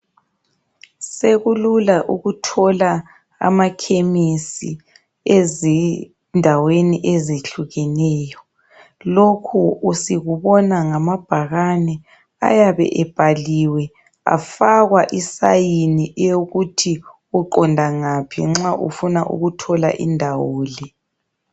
Sekulula ukuthola amakhemisi ezindaweni ezihlukeneyo. Lokhu sikubona ngamabhakane ayabe ebhaliwe afakwa isign eyokuthi uqonda ngaphi nxa ufuna ukuthola indawo le.